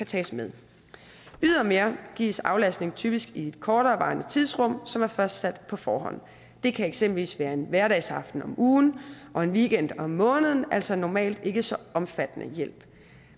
tages med ydermere gives aflastning typisk i et korterevarende tidsrum som er fastsat på forhånd det kan eksempelvis være en hverdagsaften om ugen og en weekend om måneden altså normalt ikke så omfattende hjælp